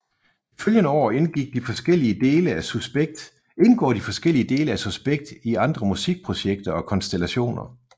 De følgende år indgår de forskellige dele af Suspekt i andre musikprojekter og konstellationer